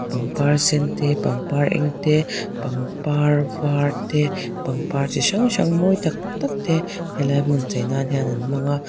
pangpar sen te pangpar eng te pangpar var te pangpar chi hrang hrang mawi tak tak te he lai hmun chei nan hian an hmanga.